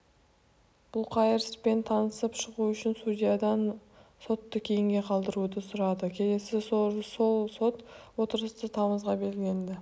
бұлқайыр іспен танысып шығу үшін судьядан сотты кейінге қалдыруды сұрады келесі сот отырысы тамызға белгіленді